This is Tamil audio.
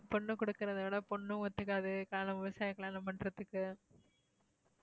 பொண்ணு கொடுக்கறதை விட பொண்ணு ஒத்துக்காது காரணம் விவசாயிய கல்யாணம் பண்றத்துக்கு.